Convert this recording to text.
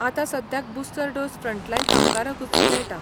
आतां सद्याक booster dose frontline कामगारांकूच मेळटा.